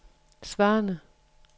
svarende